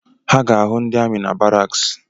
Ha ga-ahụ ndị amị na barraks